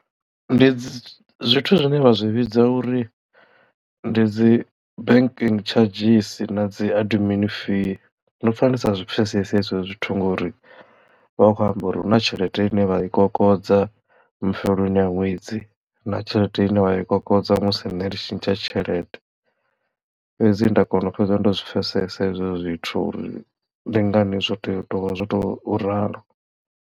Ndi zwithu zwine vha zwi vhidza uri ndi dzi banking tshadzhisi na dzi adimini fee ndo pfa ndisa zwi pfhesesi hezwi zwithu ngori vha vha khou amba uri huna tshelede ine vha i kokodza mafheloni a ṅwedzi na tshelede ine wa i kokodza musi nṋe ndi tshintsha tshelede fhedzi nda kona u fhedza ndo zwi pfhesesa ezwo zwithu uri ndi ngani zwo tea u tou vha zwo tou ralo.